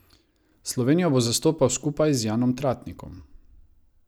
Slovenijo bo zastopal skupaj z Janom Tratnikom.